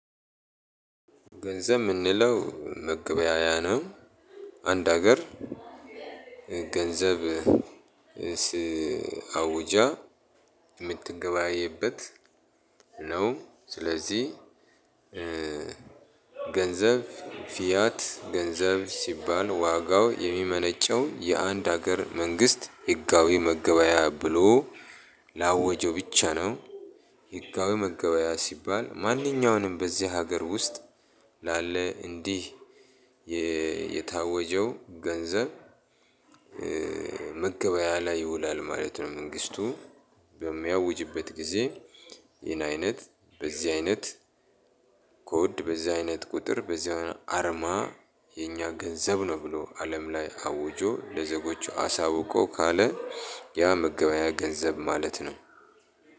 ገንዘብ የምንለው መገበያያ ነው። አንድ ሀገር ገንዘብ ሲ አውጃ የምትገበያይበት ነው። ስለዚህ ገንዘብ ፊያት ገንዘብ ሲባል ዋጋው የሚመነጨው የአንድ ሀገር መንግስት ህጋዊ መገበያያ ብሎ ላወጀው ብቻ ነው። ህጋዊ መገበያያ ሲባል ማንኛውንም በዚህ ሀገር ውስጥ ላለ እንዲህ የ የታወጀው ገንዘብ መገበያያ ላይ ይውላል ማለት ነው። መንግስቱ በሚያውጅበት ጊዜ ይሄን አይነት፣ በዚህ አይነት ኮድ፣ በዚህ አይነት ቁጥር፣ በዚህ አርማ የኛ ገንዘብ ነው ብሎ አለም ላይ አውጆ ለዜጎች አሳውቆ ካለ ያ መገበያያ ገንዘብ ማለት ነው።